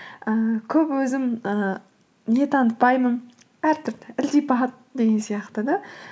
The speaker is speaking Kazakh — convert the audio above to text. ііі көп өзім ііі не танытпаймын ілтипат деген сияқты да